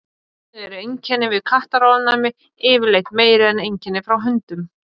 þannig eru einkenni við kattaofnæmi yfirleitt meiri en einkenni frá hundum